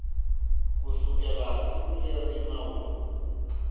kusukela siku leri nawu lowu